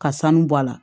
Ka sanu bɔ a la